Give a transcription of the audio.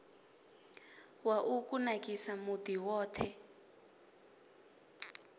wa u kunakisa muḓi woṱhe